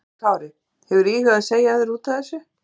Höskuldur Kári: Hefurðu íhugað að segja af þér útaf þessu?